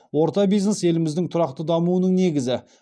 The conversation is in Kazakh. орта бизнес еліміздің тұрақты дамуының негізі